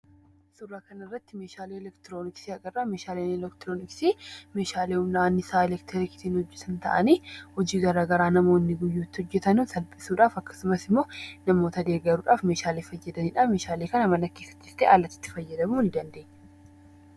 Suuraa kanarratti meeshaalee elektirooniksii agarraa. Meeshaaleen elektirooniksii meeshaalee humna anniisaa elektiriksiin hojjetan ta'anii, hojii gara garaa namoonni guyyuutti hojjetan salphisuudhaaf akkasumas immoo namoota deeggaruudhaaf meeshaalee fayyadanidha. Meeshaalee kana mana keessattis ta'e, alatti itti fayyamuu ni dandeenya.